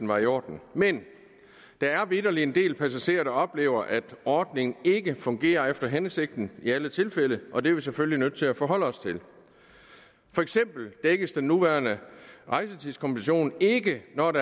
var i orden men der er vitterlig en del passagerer der også oplever at ordningen ikke fungerer efter hensigten i alle tilfælde og det er vi selvfølgelig nødt til at forholde os til for eksempel dækkes den nuværende rejsetidskompensation ikke når et